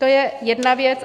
To je jedna věc.